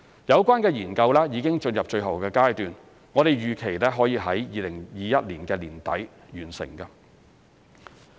有關研究已進入最後階段，我們預期可以在2021年年底完成。